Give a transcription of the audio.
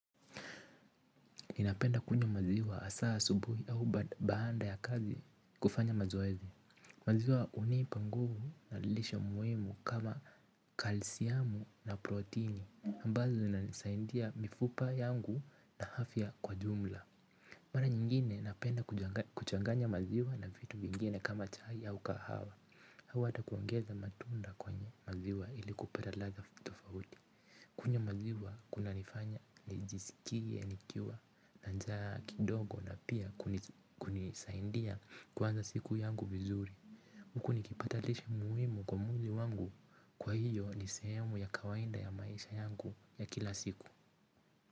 Ninapenda kunywa maziwa hasa asubuhi au baada ya kazi kufanya mazoezi. Maziwa hunipa nguvu na lisho muhimu kama kalsiamu na protini. Ambazo inanisaidia mifupa yangu na afya kwa jumla. Mara nyingine napenda kuchanganya maziwa na vitu vingine kama chai au kahawa. Au hata kuangaza matunda kwenye maziwa ili kupata ladha tofauti. Kunywa maziwa kunanifanya, nijisikie, nikiwa na njaa kidogo na pia kunisaidia kuanza siku yangu vizuri. Huku nikipata lishe muhimu kwa mwili wangu kwa hiyo ni sehemu ya kawaida ya maisha yangu ya kila siku.